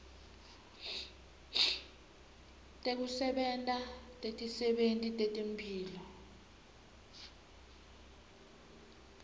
tekusebenta tetisebenti tetemphilo